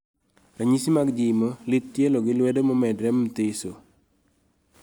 ranyisi mag jimo, lith tielo gi lwedo momedore mthiso?